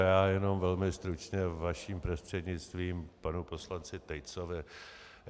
Já jenom velmi stručně vaším prostřednictvím k panu poslanci Tejcovi.